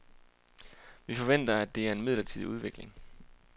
Vi forventer, at det er en midlertidig udvikling.